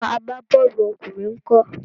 Àwọn agbá-bọ́ọ̀lù ọkùnrin ńkọ́?